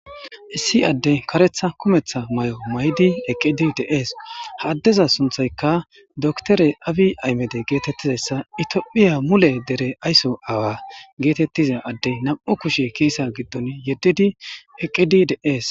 1 adey karetha kumetha mayo mayid eqid de'es. Ha adeza sunthayka dokitere abiy ahimede getetizaysa itophiya mule ayso awa getetiza addey 2 kushe kisen gidon yedid eqid de'es